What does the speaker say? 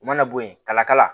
U mana bɔ yen kalakala